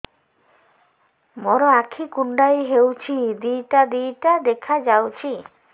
ମୋର ଆଖି କୁଣ୍ଡାଇ ହଉଛି ଦିଇଟା ଦିଇଟା ଦେଖା ଯାଉଛି